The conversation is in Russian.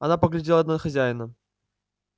она поглядела на хозяина